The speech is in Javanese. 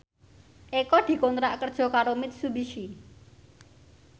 Eko dikontrak kerja karo Mitsubishi